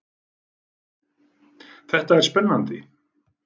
Þetta er spennandi!